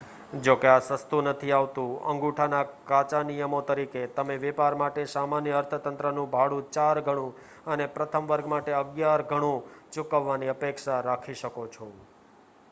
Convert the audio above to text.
જોકે આ સસ્તું નથી આવતું અંગૂઠાના કાચા નિયમો તરીકે તમે વેપાર માટે સામાન્ય અર્થતંત્રનું ભાડું ચાર ઘણું અને પ્રથમ વર્ગ માટે અગિયાર ઘણું ચૂકવવાની અપેક્ષા રાખી શકો છો